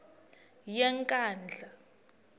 yenkandla